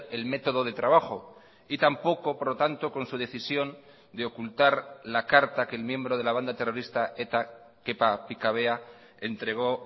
el método de trabajo y tampoco por lo tanto con su decisión de ocultar la carta que el miembro de la banda terrorista eta kepa pikabea entregó